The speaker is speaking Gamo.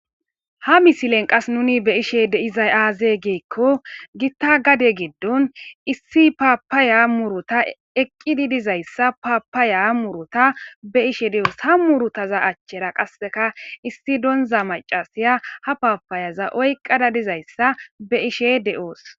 Ha misilen qas nuni be ishe deizay aaze geekko gitta gade geddon issi paapaya murota eqqidi dizayssa paapaya murota be ishe de'oos ha murutaza achchera qasseka issi donza macasiya ha paapayaza oyqada dizayssa be ishe de'oos.